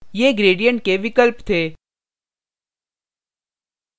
ये gradient के विकल्प थे